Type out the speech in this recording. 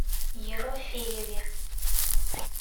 ерофееве